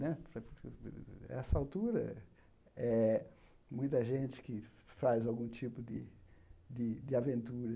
Né nessa altura, eh muita gente que faz algum tipo de de de aventura,